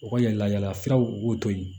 U ka yala yalafuraw b'o to yen